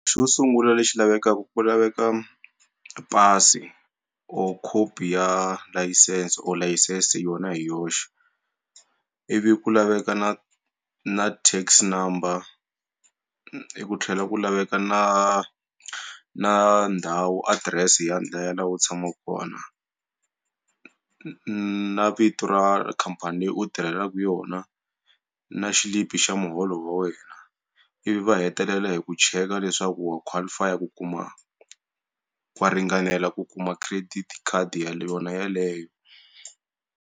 Xo sungula lexi lavekaka ku laveka pasi or copy ya license or license yona hi yoxe ivi ku laveka na na tax number ku tlhela ku laveka na na ndhawu address ya u tshamaka kona na vito ra khampani leyi u tirhelaka yona na xilipi xa muholo wa wena ivi va hetelela hi ku cheka leswaku wa qualify ku kuma wa ringanela ku kuma credit card yona yaleyo.